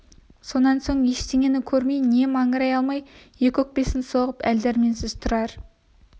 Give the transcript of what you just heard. сонан соң ештеңені көрмей не маңырай алмай екі өкпесін соғып әл-дәрменсіз тұрар